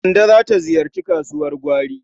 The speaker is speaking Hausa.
Kande za ta ziyarci kasuwar gwari.